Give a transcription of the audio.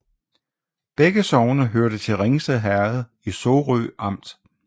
Begge sogne hørte til Ringsted Herred i Sorø Amt